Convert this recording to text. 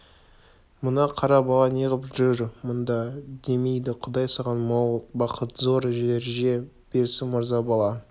мына қара бала неғып жүр мұнда демейді құдай саған мол бақыт зор дәреже берсін мырза бала